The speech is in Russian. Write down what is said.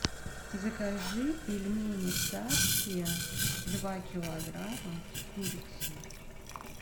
закажи пельмени царские два килограмма с курицей